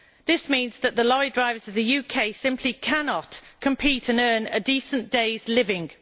This means that the lorry drivers of the UK simply cannot compete and earn a decent day's living.